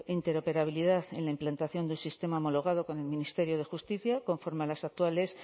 interoperabilidad en la implantación de un sistema homologado con el ministerio de justicia conforme a las actuales